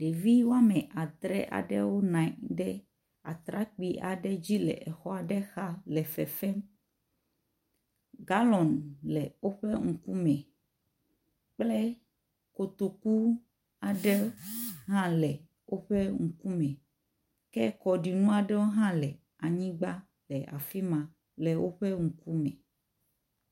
Ɖevi wɔme adre aɖewo nɔ anyi ɖe atrekpui aɖe dzi le xɔ aɖe xa le fefem. Galɔn le woƒe ŋkume kple kotoku aɖe hã le woƒe ŋkume. Ke kɔɖinu aɖewo hã le anyigba le afi ma le woƒe ŋkume.